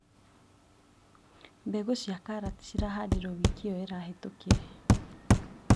Mbegũ cia karati cirahandirwo wiki ĩyo ĩrahetũkire.